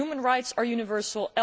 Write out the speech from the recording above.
Human rights are universal